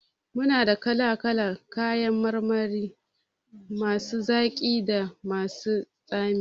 Muna da kala kalan kayan marmari masu zaki da masu tsami